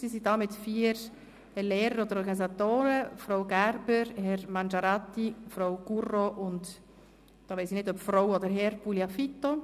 Sie sind hier mit vier Lehrern und Organisatoren: Frau Gerber, Herr Mangiarati, Frau Gurro und – hier weiss ich nicht, ob Herr oder Frau Gugliafito.